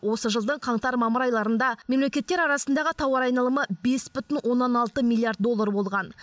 осы жылдың қаңтар мамыр айларында мемлекеттер арасындағы тауар айналымы бес бүтін оннан алты миллиард доллар болған